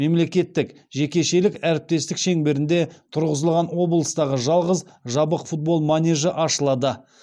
мемлекеттік жекешелік әріптестік шеңберінде тұрғызылған облыстағы жалғыз жабық футбол манежі ашылады